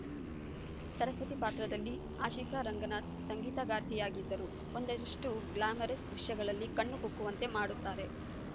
ಸರಸ್ವತಿ ಪಾತ್ರದಲ್ಲಿ ಆಶಿಕಾ ರಂಗನಾಥ್‌ ಸಂಗೀತಗಾರ್ತಿಯಾಗಿದ್ದರೂ ಒಂದಷ್ಟುಗ್ಲಾಮರಸ್‌ ದೃಶ್ಯಗಳಲ್ಲಿ ಕಣ್ಣು ಕುಕ್ಕುವಂತೆ ಮಾಡುತ್ತಾರೆ